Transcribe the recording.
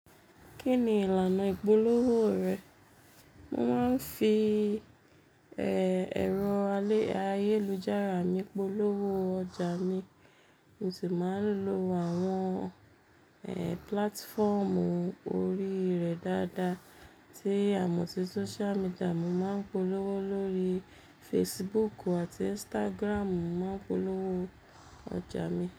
Kí ni ìlànà ìpolówó rẹ? Mo máa ń fi, ẹ, ẹ̀rọ alè, ayélujára mi polówó ọjà mi, mo sì máa ń lo àwọn, ẹ, platformu orí rẹ̀ dáadáa. Tí a mo sí social media, mo máa ń polówó lórí Facebook àti Instagram, mo máa ń polówó ọjà mi.